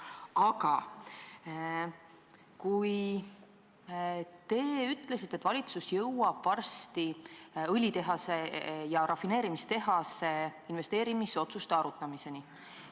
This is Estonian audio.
Aga te ütlesite, et valitsus jõuab varsti õlitehasesse ja rafineerimistehasesse investeerimise otsuste arutamiseni.